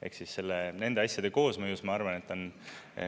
Ehk siis nende asjade koosmõjus, ma arvan, et on …